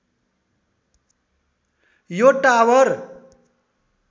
यो टावर